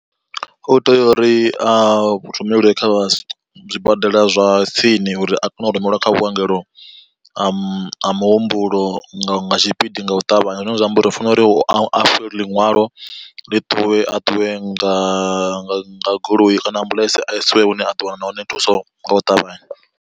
U tea uri a rumelwe kha zwibadela zwa tsini uri a kone u rumelwa kha vhuongelo ha muhumbulo nga tshipidi nga u ṱavhanya, zwine zwa amba uri hu fanela uri u afhiwe liṅwalo ḽi ṱuwe a ṱuwe nga goloi kana ambuḽentse a isiwe hune a ḓowana hone thuso nga u ṱavhanya.